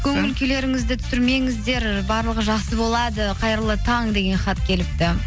көңіл күйлеріңізді түсірмеңіздер барлығы жақсы болады қайырлы таң деген хат келіпті